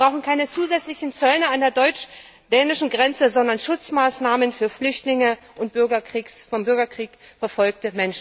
Wir brauchen keine zusätzlichen Zöllner an der deutsch dänischen Grenze, sondern Schutzmaßnahmen für Flüchtlinge und vom Bürgerkrieg verfolgte Menschen.